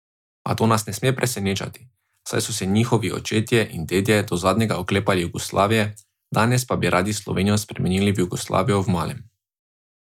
A to nas ne sme presenečati, saj so se njihovi očetje in dedje do zadnjega oklepali Jugoslavije, danes pa bi radi Slovenijo spremenili v Jugoslavijo v malem.